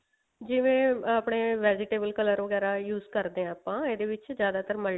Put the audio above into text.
ਜਿਵੇਂ ਆਪਣੇ vegetable color ਵਗੇਰਾ use ਕਰਦੇ ਹਾਂ ਆਪਾਂ ਇਹਦੇ ਵਿੱਚ ਜਿਆਦਾਰ multi